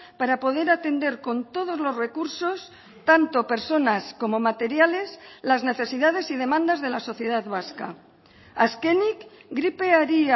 para poder atender con todos los recursos tanto personas como materiales las necesidades y demandas de la sociedad vasca azkenik gripeari